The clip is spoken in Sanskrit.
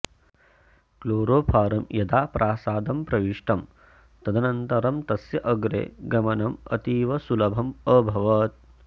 क्लोरोफारं यदा प्रासादं प्रविष्टं तदनन्तरं तस्य अग्रे गमनम् अतीव सुलभम् अभवत्